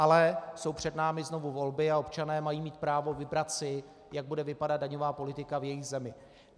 Ale jsou před námi znovu volby a občané mají mít právo si vybrat, jak bude vypadat daňová politika v jejich zemi.